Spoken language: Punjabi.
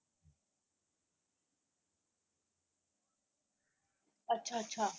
ਅੱਛਾ ਅੱਛਾ।